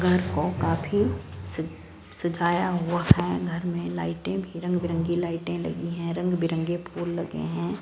घर को काफी सज सजाया हुआ है घर मे लाइटें भी रंग बिरंगी लाइटें लगी है रंग बिरंगे फूल लगे है।